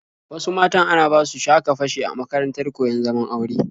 Wasu matan ana basu sha-ka-fashe a makarantar koyon zaman aure.